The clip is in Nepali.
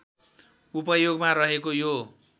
उपयोगमा रहेको यो